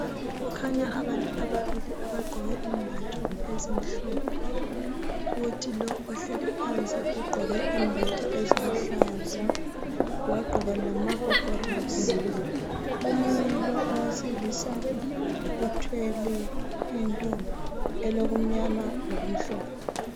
Kukhanya abantu ababili abagqoke imbatho ezimhlophe, kuthi lo ohlezi phansi ugqoke imbatho eziluhlaza, wagqoka lamagogorosi. Omunye lo owesilisa uthwele into elokumnyama lokumhlophe.